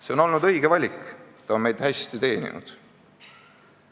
See on olnud õige valik, see on meid hästi teeninud.